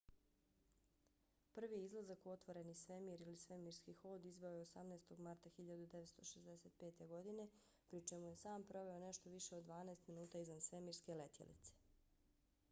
prvi izlazak u otvoreni svemir eva ili svemirski hod izveo je 18. marta 1965. godine pri čemu je sam proveo nešto više od dvanaest minuta izvan svemirske letjelice